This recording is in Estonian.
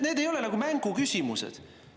Need ei ole mänguküsimused.